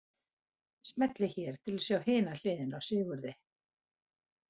Smellið hér til að sjá hina hliðina á Sigurði.